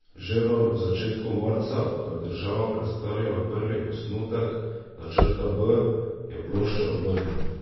Že v začetku marca, ko je država predstavila prvi osnutek načrta B, je ploščo obrnil.